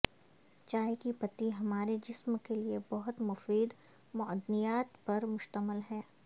چائے کی پتی ہمارے جسم کے لئے بہت مفید معدنیات پر مشتمل ہے